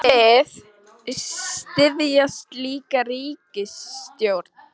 En hún ætlar að hugsa betur um þetta seinna.